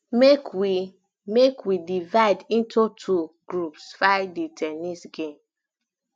make we make we divide into two groups fir the ten nis game